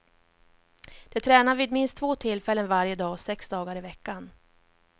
De tränar vid minst två tillfällen varje dag, sex dagar i veckan.